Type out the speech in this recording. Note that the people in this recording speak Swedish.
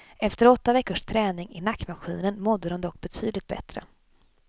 Efter åtta veckors träning i nackmaskinen mådde de dock betydligt bättre.